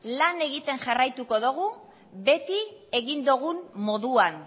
lana egiten jarraituko dogu beti egin dogun moduan